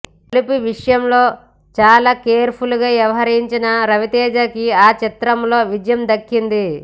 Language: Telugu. బలుపు విషయంలో చాలా కేర్ఫుల్గా వ్యవహరించిన రవితేజకి ఆ చిత్రంతో విజయం దక్కింది